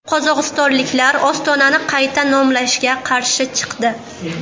Qozog‘istonliklar Ostonani qayta nomlashga qarshi chiqdi.